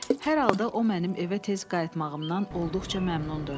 Hər halda o mənim evə tez qayıtmağımdan olduqca məmnundur.